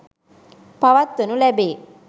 පවත්වනු ලැබේ.